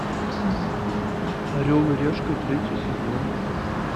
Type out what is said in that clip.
орел и решка третий сезон